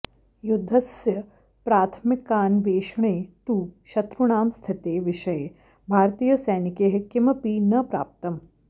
युद्धस्य प्राथमिकान्वेषणे तु शत्रूणां स्थितेः विषये भारतीयसैनिकैः किमपि न प्राप्तम्